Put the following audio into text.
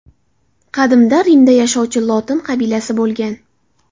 Qadimda Rimda yashovchi lotin qabilasi bo‘lgan.